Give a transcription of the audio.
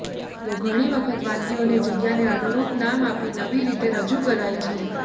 તો ઘણી વખત વાનગીઓને જગ્યાને અનુરૂપ નામ આપી નવી રીતે રજૂ કરાય છે